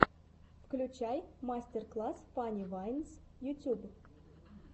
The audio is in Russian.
включай мастер класс фанни вайнс ютюб